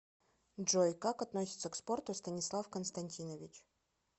джой как относится к спорту станислав константинович